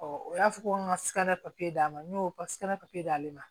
o y'a fɔ ko n ka sika d'a ma n y'o papiye d'ale ma